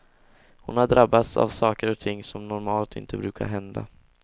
Hon har drabbats av saker och ting som normalt inte brukar hända.